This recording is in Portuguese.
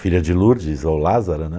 Filha de Lourdes ou Lázara, né?